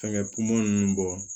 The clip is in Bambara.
Fɛnkɛ pomu ninnu bɔ